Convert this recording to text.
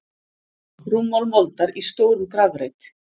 Rúmmál moldar í stórum grafreit.